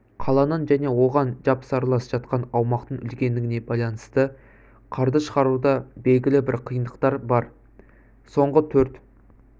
қаланың және оған жапсарлас жатқан аумақтың үлкендігіне байланысты қарды шығаруда белгілі бір қиындықтар бар соңғы төрт